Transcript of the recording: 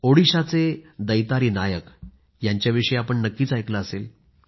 ओडिशाचे दैतारी नायक यांच्याविषयी आपण नक्कीच ऐकलं असेल